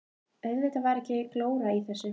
Auðvitað var ekki glóra í þessu.